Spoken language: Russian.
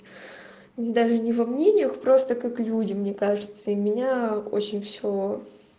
ну даже не во мнениях просто как люди мне кажется и меня очень все